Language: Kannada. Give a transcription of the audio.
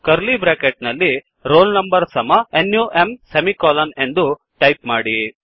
ಕರ್ಲೀ ಬ್ರ್ಯಾಕೆಟ್ ನಲ್ಲಿ roll number ಸಮ ನಮ್ ಎಂದು ಟೈಪ್ ಮಾಡಿ